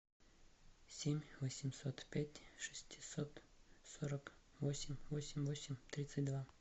семь восемьсот пять шестьсот сорок восемь восемь восемь тридцать два